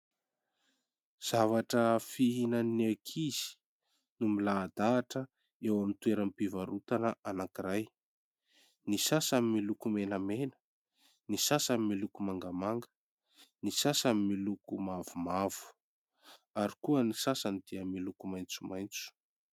Zavatra fihinan'ny ankizy no milahadahatra eo amin'ny toeram-pivarotana anankiray. Ny sasany miloko menamena, ny sasany miloko mangamanga, ny sasany miloko mavomavo ary koa ny sasany dia miloko maitsomaitso.